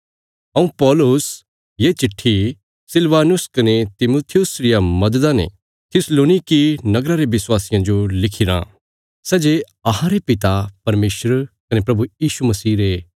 हऊँ पौलुस ये चिट्ठी सिलवानुस कने तिमुथियुस रिया मददा ने थिस्सलुनीकी नगरा रे विश्वासियां जो लिखिराँ सै जे अहांरे पिता परमेशर कने प्रभु यीशु मसीह रे